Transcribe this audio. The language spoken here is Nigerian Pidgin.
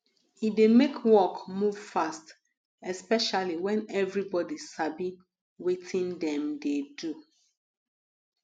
e dey make work move fast especially when everybody sabi wetin dem dey do